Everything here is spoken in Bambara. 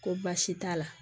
Ko baasi t'a la